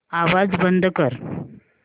आवाज बंद कर